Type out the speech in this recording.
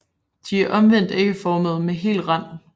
De er omvendt ægformede med hel rand